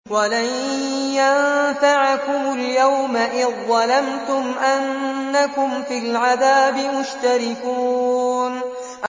وَلَن يَنفَعَكُمُ الْيَوْمَ إِذ ظَّلَمْتُمْ أَنَّكُمْ فِي الْعَذَابِ مُشْتَرِكُونَ